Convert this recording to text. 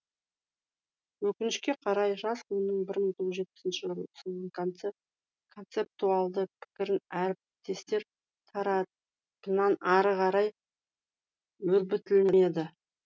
өкінішке қарай жас ғалымның бір мың тоғыз жүз жетпісінші жылы ұсынған концептуалды пікірін әріптестер тарапынан ары қарай өрбітілмеді